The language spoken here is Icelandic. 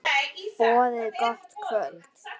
Boðið gott kvöld.